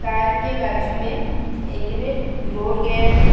घर के बाजू में एक में रोड गया है।